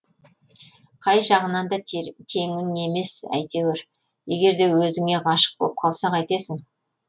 қай жағынан да теңің емес әйтеуір егерде өзіңе ғашық боп қалса қайтесің